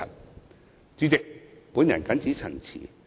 代理主席，我謹此陳辭。